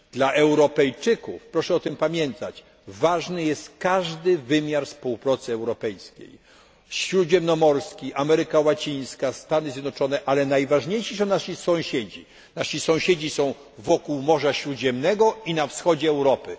Dla Europejczyków, proszę o tym pamiętać, ważny jest każdy wymiar współpracy europejskiej śródziemnomorski, z Ameryką Łacińską, ze Stanami Zjednoczonymi, ale najważniejsi są nasi sąsiedzi. Nasi sąsiedzi są wokół Morza Śródziemnego i na wschodzie Europy.